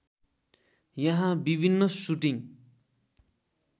यहाँ विभिन्न सुटिङ्ग